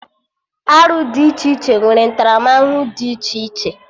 Arụ dị iche iche nwere ntaramahụhụ dị iche iche